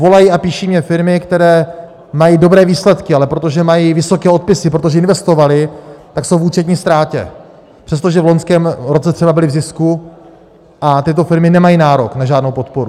Volají a píší mně firmy, které mají dobré výsledky, ale protože mají vysoké odpisy, protože investovaly, tak jsou v účetní ztrátě, přestože v loňském roce třeba byly v zisku, a tyto firmy nemají nárok na žádnou podporu.